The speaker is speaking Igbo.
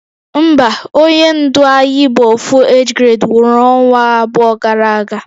Mba, onye ndu Ayi bu Ofu age grade nwuru onwa abuo gara aga